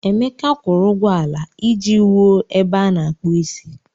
Emeka kwụrụ ụgwọ ala iji wuo ebe a na-akpụ isi.